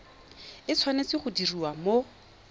e tshwanetse go diriwa mo